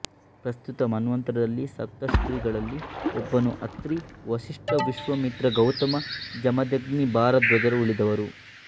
ಪ್ರಸ್ತುತ ಮನ್ವಂತರದಲ್ಲಿ ಸಪ್ತರ್ಷಿಗಳಲ್ಲಿ ಒಬ್ಬನು ಅತ್ರಿ ವಶಿಷ್ಠ ವಿಶ್ವಾಮಿತ್ರ ಗೌತಮ ಜಮದಗ್ನಿ ಭಾರದ್ವಾಜರು ಉಳಿದವರು